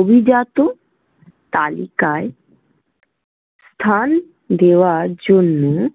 অভিজাত তালিকায় স্থান দেওয়ার জন্য।